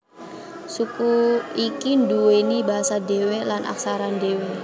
Suku iki nduweni basa dhewe lan aksara dhewe